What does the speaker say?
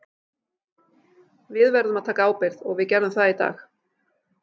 Við verðum að taka ábyrgð og við gerðum það í dag.